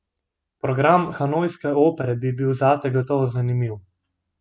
Program hanojske opere bi bil zate gotovo zanimiv!